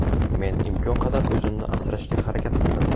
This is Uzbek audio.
Men imkon qadar o‘zimni asrashga harakat qildim.